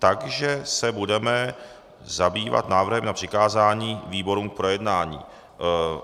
Takže se budeme zabývat návrhem na přikázání výborům k projednání.